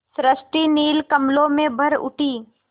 सृष्टि नील कमलों में भर उठी